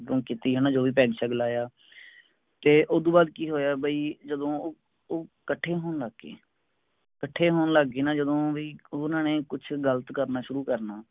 drink ਕਿਤੀ ਹੈਨਾ ਜੋ ਵੀ ਪੈੱਗ ਸ਼ੈੱਗ ਲਾਯਾ ਤੇ ਓਹਤੋਂ ਬਾਦ ਕਿ ਹੋਇਆ ਬਾਈ ਜਦੋਂ ਉਹ ਕੱਠੇ ਹੋਣ ਲੱਗ ਗਏ ਕੱਠੇ ਹੋਣ ਲਗ ਗਏ ਨਾ ਜਦੋ ਵੀ ਉਹਨਾਂ ਨੇ ਕੁਛ ਗਲਤ ਕਰਨਾ ਸ਼ੁਰੂ ਕਰਨਾ